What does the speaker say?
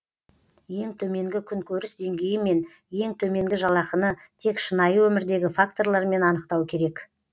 ең төменгі күнкөріс деңгейі мен ең төменгі жалақыны тек шынайы өмірдегі факторлармен анықтау керек